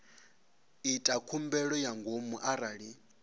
ita khumbelo ya ngomu arali